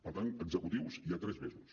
per tant executius hi ha tres mesos